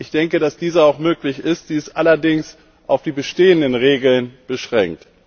Ich denke, dass diese auch möglich ist, sie ist allerdings auf die bestehenden Regeln beschränkt.